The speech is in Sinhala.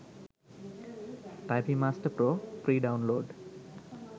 typing master pro free download